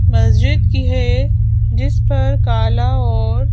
मस्जिद की है जिस पर काला और--